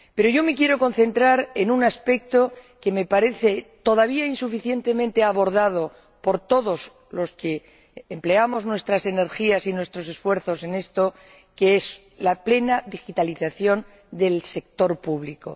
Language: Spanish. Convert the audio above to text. Yo me quiero concentrar en un aspecto que me parece todavía insuficientemente abordado por todos los que empleamos nuestras energías y nuestros esfuerzos en esto la plena digitalización del sector público.